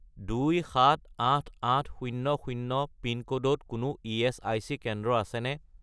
278800 পিনক'ডত কোনো ইএচআইচি কেন্দ্র আছেনে?